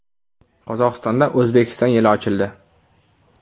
Qozog‘istonda O‘zbekiston yili ochildi.